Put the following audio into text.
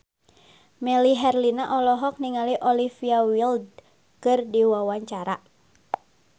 Melly Herlina olohok ningali Olivia Wilde keur diwawancara